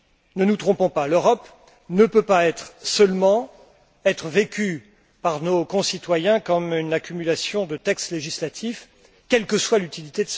Ne nous trompons pas, l'Europe ne peut pas être seulement vécue par nos concitoyens comme une accumulation de textes législatifs, quelle que soit leur utilité.